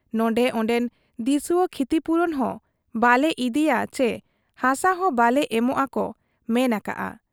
ᱱᱚᱰᱮ ᱚᱱᱰᱮᱱ ᱫᱤᱥᱩᱣᱟᱹ ᱠᱷᱤᱛᱤᱯᱩᱨᱚᱱ ᱦᱚᱸ ᱵᱟᱞᱮ ᱤᱫᱤᱭᱟ ᱪᱤ ᱦᱟᱥᱟ ᱦᱚᱸ ᱵᱟᱞᱮ ᱮᱢᱚᱜ ᱟ ᱠᱚ ᱢᱮᱱ ᱟᱠᱟᱜ ᱟ ᱾